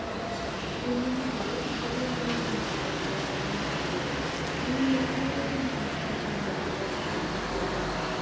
ਉਹਨਾ ਦਾ ਹਰੇਕ ਜਿਹੜੇ ਵੀ ਉਹਨਾ ਦੇ ਨਾਟਕ ਜਾਂ ਫਿਲਮਾਂ ਸੀਗੇ ਉਹਨਾ ਨੇ ਆਪਣੀ ਭਾਸ਼ਾਵਾਂ ਵਿੱਚ dub ਕਰਨੇ ਸ਼ੁਰੂ ਕਰ ਦਿੱਤੇ